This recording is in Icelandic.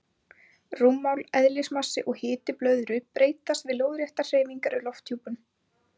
Rúmmál, eðlismassi og hiti blöðru breytast við lóðréttar hreyfingar í lofthjúpnum.